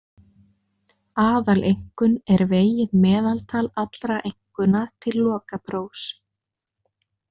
Aðaleinkunn er vegið meðaltal allra einkunna til lokaprófs.